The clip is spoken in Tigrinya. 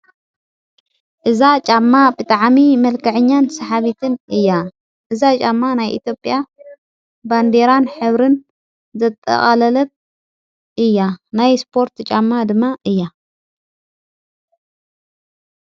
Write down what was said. እዛ ጫማ ብጥዓሚ መልካዕኛን ሰሓቢትን እያ እዛ ጫማ ናይ ኢትዮጵያ ባንዴራን ኅብርን ዘጠቓለለት እያ ናይ ስጶርት ጫማ ድማ እያ።